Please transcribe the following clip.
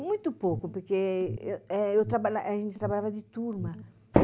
Muito pouco, porque a gente trabalhava de turma.